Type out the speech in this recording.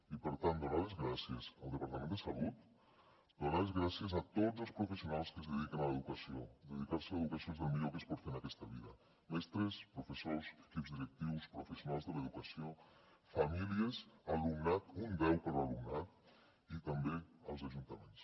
i per tant donar les gràcies al departament de salut donar les gràcies a tots els professionals que es dediquen a l’educació dedicar se a l’educació és del millor que es pot fer en aquesta vida mestres professors equips directius professionals de l’educació famílies alumnat un deu per a l’alumnat i també als ajuntaments